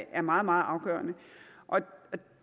er meget meget afgørende